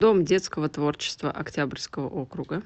дом детского творчества октябрьского округа